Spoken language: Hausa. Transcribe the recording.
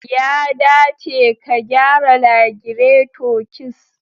Ya dace ka gyara lagireto ks